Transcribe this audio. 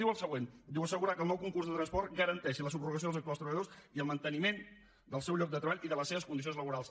diu el següent assegurar que el nou concurs de transport garanteixi la subrogació dels actuals treballadors i el manteniment del seu lloc de treball i de les seves condicions laborals